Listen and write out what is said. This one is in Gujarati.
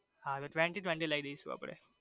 હા તો twenty twenty લઇ દેસુ આપડે.